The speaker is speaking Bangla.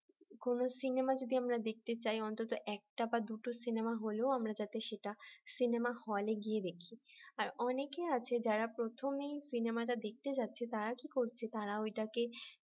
কোন সিনেমা যদি আমরা দেখতে চাই অন্তত একটা বা দুটো সিনেমা হলেও আমরা যাতে সেটা সিনেমা হলে গিয়ে দেখি আর অনেকে আছে যারা প্রথমে সিনেমাটা দেখতে যাচ্ছে তারা কি করছে তারা ঐটাকে